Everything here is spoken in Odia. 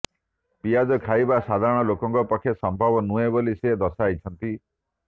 ପିଆଜ ଖାଇବା ସାଧାରଣଲୋକଙ୍କ ପକ୍ଷେ ସମ୍ଭବ ନୁହେଁ ବୋଲି ସେ ଦର୍ଶାଇଛନ୍ତି